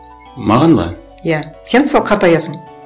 маған ба иә сен мысалы қартаясың